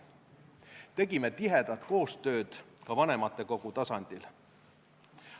Tegime tihedat koostööd ka vanematekogu tasandil.